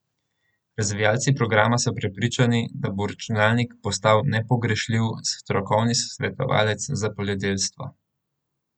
Razvijalci programa so prepričani, da bo računalnik postal nepogrešljiv strokovni svetovalec za poljedelstvo.